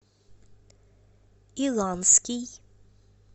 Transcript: иланский